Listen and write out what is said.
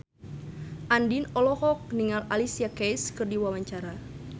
Andien olohok ningali Alicia Keys keur diwawancara